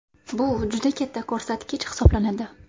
Bu juda katta ko‘rsatkich hisoblanadi.